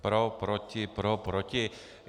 Pro, proti, pro, proti.